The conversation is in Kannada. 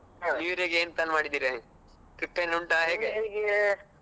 New year ಗೆ ಏನ್ plan ಮಾಡಿದ್ದೀರಿ trip ಎನ್ ಉಂಟಾ ಹೇಗೆ?